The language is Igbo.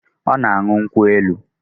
Ọ na-aṅụ nkwụ elu